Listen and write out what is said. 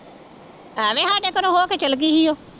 ਐਵੇਂ ਸਾਡੇ ਘਰੋਂ ਹੋ ਕੇ ਚਲੀ ਗਈ ਸੀ ਉਹ।